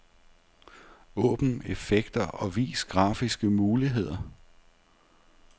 Åbn effekter og vis grafiske muligheder.